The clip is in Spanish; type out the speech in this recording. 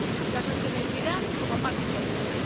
La sostenibilidad como parte importante.